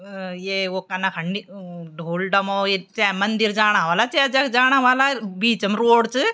अ ये वो कना नि ढोल डमो चाए मंदिर जाना वल्ला चाए जख जाना वल्ला बीच म रोड च।